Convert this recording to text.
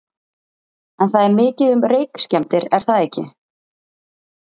En það er mikið um reykskemmdir er það ekki?